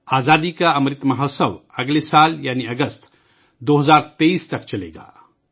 آزادی کا امرت مہوتسو اگلے سال یعنی اگست ، 2023 ء تک جاری رہے گا